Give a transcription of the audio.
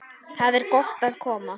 Þar er gott að koma.